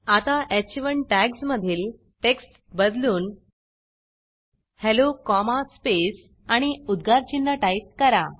आता ह1 टॅग्जमधील टेक्स्ट बदलून हेल्लो कॉमा स्पेस आणि उद्गारचिन्ह टाईप करा